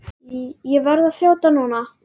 Ég verð að þjóta núna.